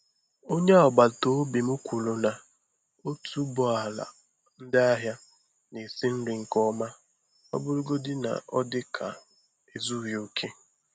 Onye agbata obi m kwuru na otuboala ndị ahịa na-esi nri nke ọma, ọ bụrụgodị na ọ dị ka ezughị okè.